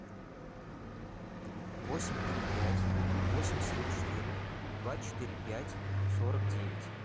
восемь три пять восемь семь четыре два четыре пять сорок девять